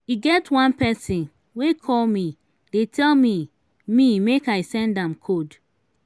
e get one person wey call me dey tell me me make i send am code